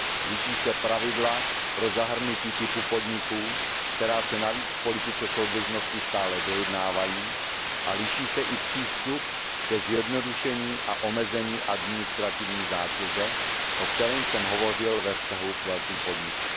Liší se pravidla pro zahrnutí typu podniků, která se navíc v politice soudržnosti stále dojednávají, a liší se i přístup ke zjednodušení a omezení administrativní zátěže, o kterém jsem hovořil ve vztahu k velkým podnikům.